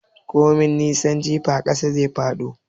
Komai nisan jifa, ƙasa zai dawo.